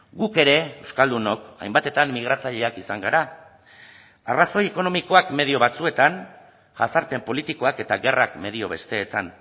guk ere euskaldunok hainbatetan migratzaileak izan gara arrazoi ekonomikoak medio batzuetan jazarpen politikoak eta gerrak medio besteetan